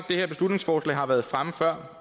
det her beslutningsforslag har været fremme før